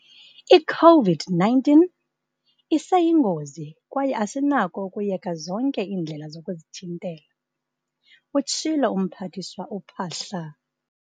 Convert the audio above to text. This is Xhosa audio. "I-COVID-19 iseyingozi kwaye asinako ukuyeka zonke iindlela zokuzithintela," utshilo uMphathiswa uPhaahla.